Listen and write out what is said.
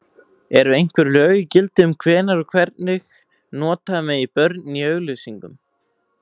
Eru einhver lög í gildi um hvenær og hvernig nota megi börn í auglýsingum?